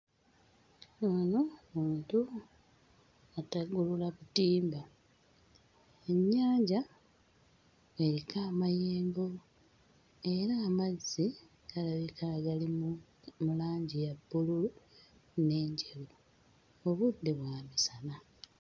Ono muntu ataggulula butimba. Ennyanja eriko amayengo, era amazzi galabika nga gali mu mu langi ya bbululu n'enjeru, obudde bwa misana.